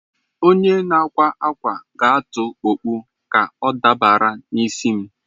Onye na-akwa akwa ga-atụ okpu ka ọ dabara n'isi m.